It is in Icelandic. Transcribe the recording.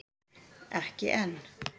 Ekki enn